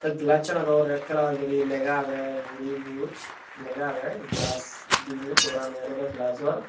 glass aanot o red kalar guri lega age buri buj lega age glass dinei dorani olode glajor